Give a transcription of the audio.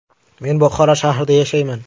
Men Buxoro shahrida yashayman.